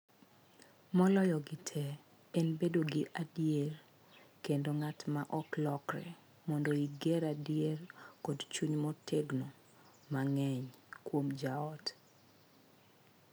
Moloyogi tee en bedo ja adier kendo nga’t ma ok lokre mondo iger adiera kod chung’ motegno mang’eny kuom joot.